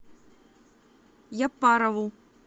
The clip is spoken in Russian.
яппарову